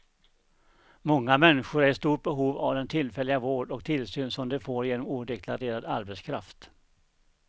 Många människor är i stort behov av den tillfälliga vård och tillsyn som de får genom odeklarerad arbetskraft.